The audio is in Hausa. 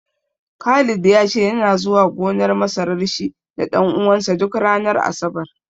Khalid ya ce yana zuwa gonar masarar shi da ɗan uwansa duk ranar Asabar.